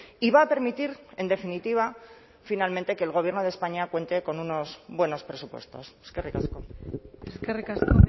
y va a permitir en definitiva finalmente que el gobierno de españa cuente con unos buenos presupuestos eskerrik asko eskerrik asko